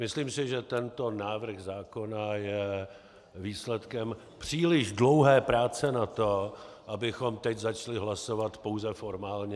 Myslím si, že tento návrh zákona je výsledkem příliš dlouhé práce na to, abychom teď začali hlasovat pouze formálně.